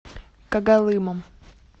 когалымом